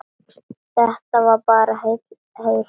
Þetta var bara heil ræða.